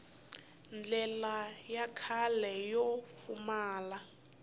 ndlela ya kahle yo pfumala